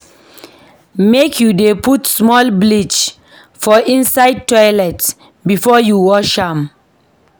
Make you dey put small bleach for inside toilet before you wash am.